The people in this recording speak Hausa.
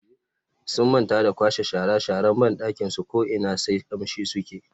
Sun manta da kwashe shara sharan bandakin su ko ina sai kamshi suke.